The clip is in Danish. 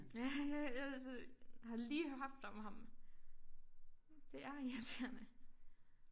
Ja jeg jeg synes har lige haft om ham det er irriterende